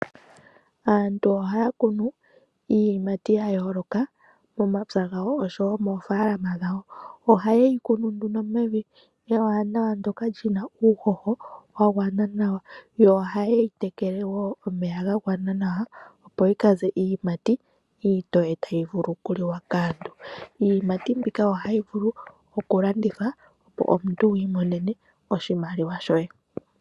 Aantu ohaya kunu iiyimati ya yooloka momapya gawo osho wo moofalama dhawo. Oha yeyi kunu nduno mevi ndyoka ewanawa, lina uuhoho wagwana nawa, yo oha yeyi tekele nduno omeya ga gwana nawa, opo yikaze iiyimati iitowe tayi vulu oku liwa kantu. Iiyimati mbika ohayi vulu oku landithwa opo omuntu wi monene oshimaliwa shoye.